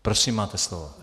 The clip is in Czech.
Prosím, máte slovo.